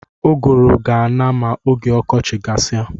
Ụgụrụ ga-ana ma oge ọkọchị gasia.